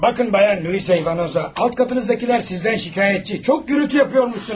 Baxın xanım Luiza İvanoza, alt qatınızdakılar sizdən şikayətçidir, çox səs-küy salırsınız.